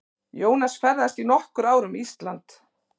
Jónas ferðaðist í nokkur ár um Ísland.